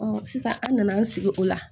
sisan an nana an sigi o la